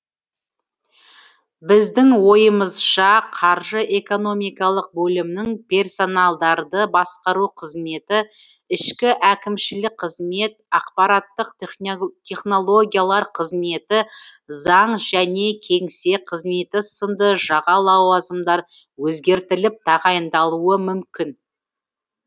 біздің ойымызша қаржы экономикалық бөлімнің персоналдарды басқару қызметі ішкі әкімшілік қызмет ақпараттық технологиялар қызметі заң және кеңсе қызметі сынды жаға лауазымдар өзгертіліп тағайындалуы мүмкін